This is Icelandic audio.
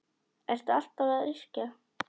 Ertu alltaf að yrkja?